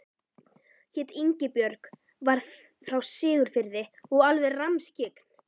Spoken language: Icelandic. Hét Ingibjörg, var frá Siglufirði og alveg rammskyggn.